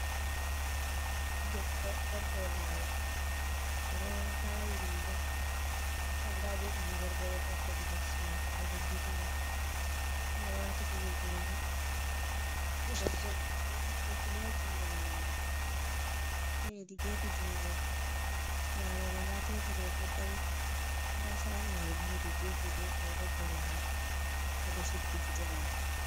Debbo ɗo dow laawol, o ɗo vaawi ɓinngel ndda binngel bo ɗo darir hedi les maako ɓe ɗo dilida o ɗo waati kuje junngo, lekile ɗo ha junngo nyaamo, haa hedi geefe junngo nyaamo ɗo ndaa teebur mai ɗo dari ndaa shhago mai bo hedi geefe- geefe o ɗo suddi gite maako.